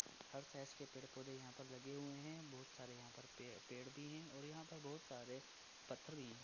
हर size के पेड़ पौधे यहाँ पे लगे हुए है बहुत सारे यहाँ पे पेड़ भी है और यहाँ पर बहुत सारे पत्थर भी हैं।